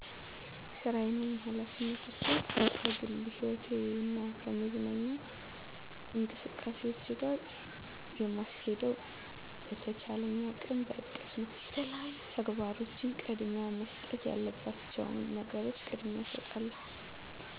ሥራየን ወይም ኃላፊነቶቸን ከግል ሕይወቴ እና ከመዝናኛ እንቅስቃሴዎቸ ጋር የምስኬደው በቸቻለኝ አቅም በእቅደ ነው። ለተለያዩ ተግባሮቸን ቅደሚያ መሰጠት ያለባቸዉን ነገሮች ቅደሚያ እስጣለሁ።